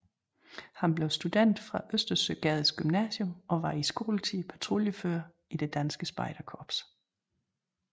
Han blev student fra Østersøgades Gymnasium og var i skoletiden patruljefører i Det Danske Spejderkorps